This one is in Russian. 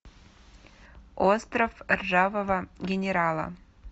остров ржавого генерала